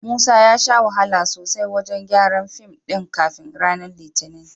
Musa ya sha wahala sosai wajen gyaran fim ɗin kafin ranar Litinin.